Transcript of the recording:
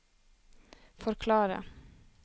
forklare